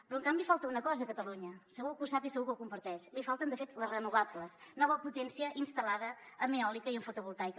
però en canvi falta una cosa a catalunya segur que ho sap i segur que ho comparteix li falten de fet les renovables nova potència instal·lada en eòlica i en fotovoltaica